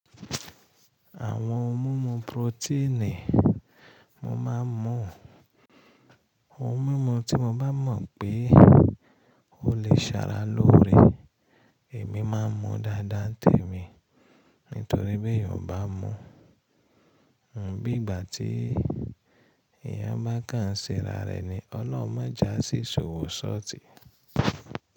Àwọn ohun mímu proteinii mo máa ń mú, ohun mímu tí mo bá mọ̀ pé ó lè ṣàrà lórí èmi máa ń mu dáadáa tẹ̀mí. Nítorí pé ìyá bá mú, bí ìgbà tí ìyá bá kàn síra rẹ̀ ni ọlọ́mọjá sì ṣòwò ṣọtì.